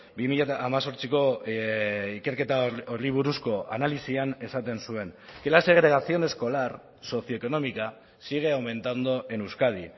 bi mila hemezortziko ikerketa horri buruzko analisian esaten zuen que la segregación escolar socioeconómica sigue aumentando en euskadi